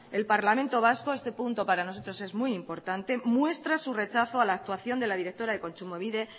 el parlamento vasco este punto para nosotros es muy importante muestra su rechazo a la actuación de la directora de kontsumobide